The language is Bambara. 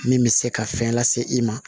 Min bɛ se ka fɛn lase i ma